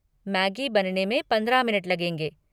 Maggi बनने में पंद्रह मिनट लगेंगे।